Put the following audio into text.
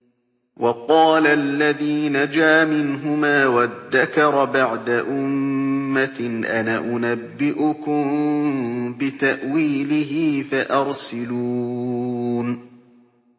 وَقَالَ الَّذِي نَجَا مِنْهُمَا وَادَّكَرَ بَعْدَ أُمَّةٍ أَنَا أُنَبِّئُكُم بِتَأْوِيلِهِ فَأَرْسِلُونِ